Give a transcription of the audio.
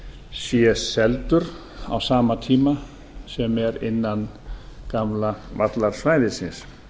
sé seldur á sama tíma sem er innan gamla vallarsvæðisins